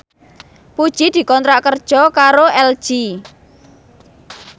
Puji dikontrak kerja karo LG